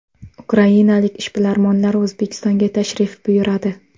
Ukrainalik ishbilarmonlar O‘zbekistonga tashrif buyuradi.